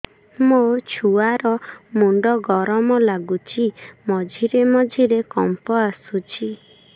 ମୋ ଛୁଆ ର ମୁଣ୍ଡ ଗରମ ଲାଗୁଚି ମଝିରେ ମଝିରେ କମ୍ପ ଆସୁଛି